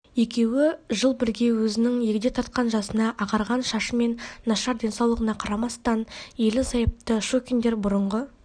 екеуі жыл бірге өзінің егде тартқан жасына ағарған шашы мен нашар денсаулығына қарамастан ерлі-зайыпты щукиндер бұрынғы